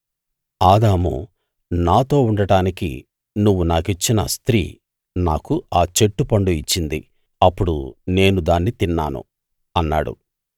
ఆదాము నాతో ఉండడానికి నువ్వు నాకిచ్చిన స్త్రీ నాకు ఆ చెట్టు పండు ఇచ్చింది అప్పుడు నేను దాన్ని తిన్నాను అన్నాడు